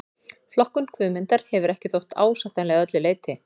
Flokkun Guðmundar hefur ekki þótt ásættanleg að öllu leyti.